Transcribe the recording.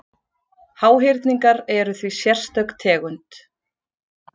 Háhyrningar eru því sérstök tegund.